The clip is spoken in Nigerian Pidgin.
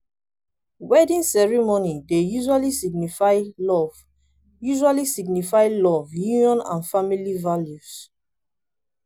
wedding ceremony dey usually signify love usually signify love union and family values